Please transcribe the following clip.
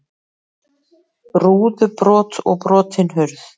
Rúðubrot og brotin hurð